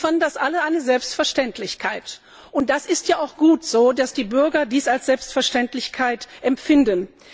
Sie fanden das alle eine Selbstverständlichkeit, und es ist ja auch gut, dass die Bürger dies als Selbstverständlichkeit empfinden.